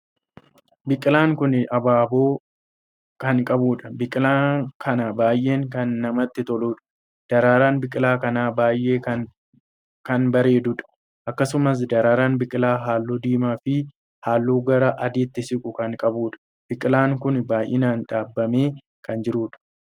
Biqilaan kun abaaboo kan qabuudha. biqilaan kan baay'ee kan namatti toluudha. daraaraan biqilaa kanaa baay'ee kan bareeduudha. akkasumas daraaraan biqilaa halluu diimaa fi halluu gara adiitti siqu kan qabuudha. biqilaan kun baay'inaan dhaabamee kan jirudha.